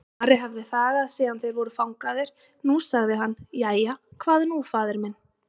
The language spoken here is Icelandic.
Ari hafði þagað síðan þeir voru fangaðir, nú sagði hann:-Jæja, hvað nú faðir minn?